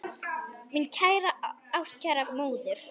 Mín kæra ástkæra móðir.